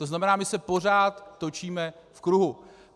To znamená, my se pořád točíme v kruhu.